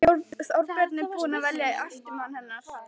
Þorbjörn: Er búið að velja eftirmann hennar?